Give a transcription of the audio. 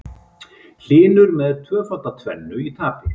Hlynur með tvöfalda tvennu í tapi